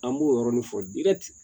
An b'o yɔrɔnin fɔ